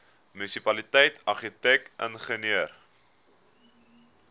munisipaliteit argitek ingenieur